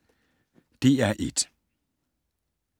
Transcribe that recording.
DR1